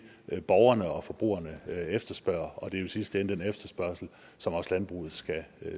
er det borgerne og forbrugerne efterspørger og det er jo i sidste ende den efterspørgsel som også landbruget skal